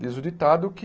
Diz o ditado que